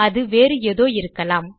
அது வேறு ஏதோ இருக்கலாம்